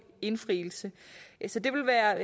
indfrielse så det vil være